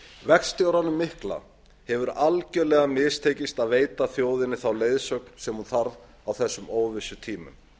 verkstjóranum mikla hefur algerlega mistekist að veita þjóðinni þá leiðsögn sem hún þarf á þessum óvissutímum